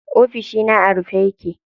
Ofishina a rufe yake.